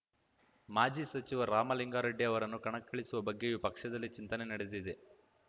ಮಾಜಿ ಸಚಿವ ರಾಮಲಿಂಗಾರೆಡ್ಡಿ ಅವರನ್ನು ಕಣಕ್ಕಿಳಿಸುವ ಬಗ್ಗೆಯೂ ಪಕ್ಷದಲ್ಲಿ ಚಿಂತನೆ ನಡೆದಿದೆ